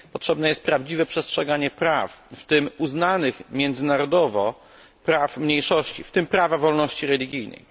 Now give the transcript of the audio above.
Potrzebne jest prawdziwe przestrzeganie prawa, w tym uznanych międzynarodowo praw mniejszości, a w tym praw mniejszości religijnych.